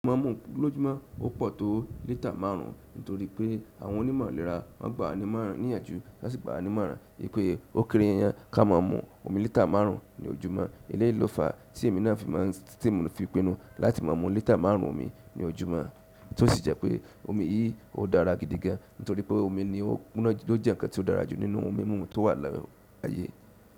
Mo ma n mu ò- lójúmọ́, ó pọ̀ tó liter márùn nítorí pé àwọn onímọ̀ ìlera máa ń gba ní'moran-níyànjú won si gbà wá ní ìmọ̀ràn. Wipé ó kéré yán, ká máa mu omi liter márùn ní ojúmọ́. Eleyi lo fa, ti emi na fi maa, ti mo fi pinu láti maa mọ liter márùn omi ni ojúmọ́. Ti o sì jẹ́ pé omi yìí ó dára gidi gan nítorí pé omi ni ó ku na- lo jẹ́ nǹkan tó dára jù nínú ohun mímu tó wà lọ́-aye.